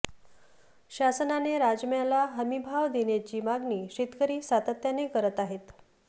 शासनाने राजम्याला हमीभाव देण्याची मागणी शेतकरी सातत्याने करत आहेत